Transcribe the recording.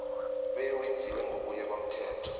bewenziwe ngokuya komthetho